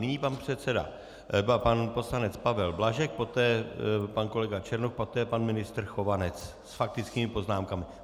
Nyní pan předseda, pan poslanec Pavel Blažek, poté pan kolega Černoch, poté pan ministr Chovanec s faktickými poznámkami.